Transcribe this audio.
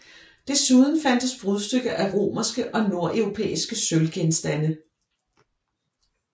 Desuden fandtes brudstykker af romerske og nordeuropæiske sølvgenstande